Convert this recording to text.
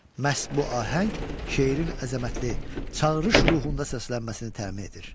Məhz bu ahəng şeirin əzəmətli, çağırış ruhunda səslənməsini təmin edir.